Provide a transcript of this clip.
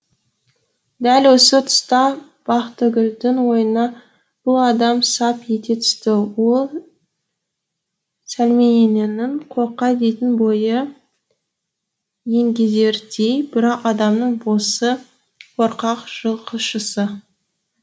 дәл осы тұста бақтыгүлдің ойына бұл адам сап ете түсті ол сәлмененің қорқа дейтін бойы еңгезердей бірақ адамның босы қорқақ жылқышысы